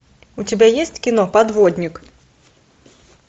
у тебя есть кино подводник